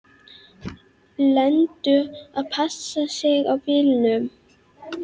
Lenu að passa sig á bílunum.